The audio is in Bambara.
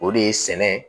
O de ye sɛnɛ ye